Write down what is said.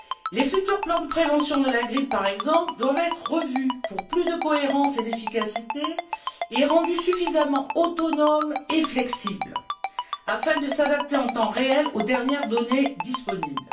Les futurs plans de prévention de la grippe, par exemple, doivent être revus pour plus de cohérence et d'efficacité et rendus suffisamment autonomes et flexibles afin de s'adapter en temps réel aux dernières données disponibles.